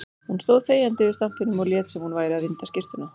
Hún stóð þegjandi yfir stampinum og lét sem hún væri að vinda skyrtuna.